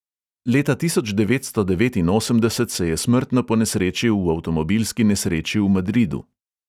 Leta tisoč devetsto devetinosemdeset se je smrtno ponesrečil v avtomobilski nesreči v madridu.